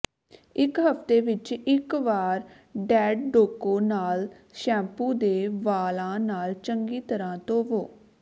ਇੱਕ ਹਫ਼ਤੇ ਵਿੱਚ ਇੱਕ ਵਾਰ ਡੈਡੋਕੋ ਨਾਲ ਸ਼ੈਂਪੂ ਦੇ ਵਾਲਾਂ ਨਾਲ ਚੰਗੀ ਤਰ੍ਹਾਂ ਧੋਵੋ